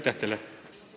Aitäh teile!